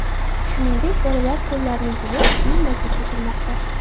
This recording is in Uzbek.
Shuningdek, bolalar qo‘llarini yuvib, keyin maktabga kirmoqda.